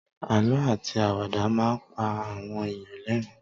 Àlọ́ àti àwàdà máa ń pa àwọn èèyàn l'ẹrin